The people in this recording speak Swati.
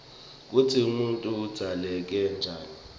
kutsi umuntfu udzaleke njani